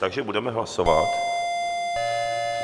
Takže budeme hlasovat.